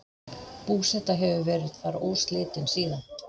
Búseta hefur verið þar óslitin síðan.